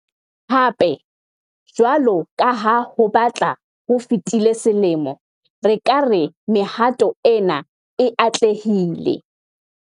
Hape, jwalo ka ha ho batla ho fetile selemo, re ka re mehato ena e atlehile.